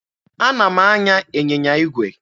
Ana m anya ịnyịnya igwe.